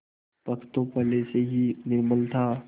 पक्ष तो पहले से ही निर्बल था